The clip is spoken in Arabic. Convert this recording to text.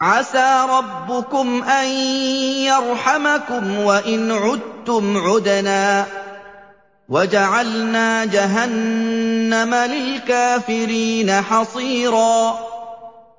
عَسَىٰ رَبُّكُمْ أَن يَرْحَمَكُمْ ۚ وَإِنْ عُدتُّمْ عُدْنَا ۘ وَجَعَلْنَا جَهَنَّمَ لِلْكَافِرِينَ حَصِيرًا